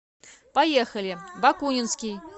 поехали бакунинский